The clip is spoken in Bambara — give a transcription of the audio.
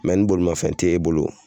ni bolimanfɛn te bolo